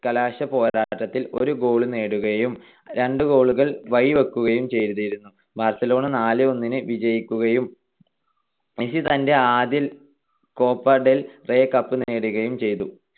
കലാശപ്പോരാട്ടത്തിൽ ഒരു goal നേടുകയും രണ്ട് goal കൾ വഴിവെക്കുകയും ചെയ്‌തിരുന്നു. ബാർസലോണ നാല് - ഒന്നിന് വിജയിക്കുകയും മെസ്സി തന്റെ ആദ്യ കോപ്പ ഡെൽ റേയ് കപ്പ് നേടുകയും ചെയ്തു.